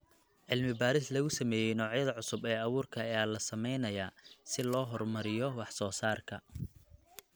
Cilmi baaris lagu sameeyay noocyada cusub ee abuurka ayaa la sameynayaa si loo horumariyo wax soo saarka.